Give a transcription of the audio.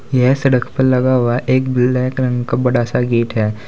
यह सड़क पर लगा हुआ एक ब्लैक रंग का बड़ा सा गेट है।